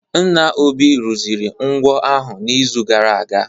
Nna Obi rụziri ngwo ahụ n'izu gara aga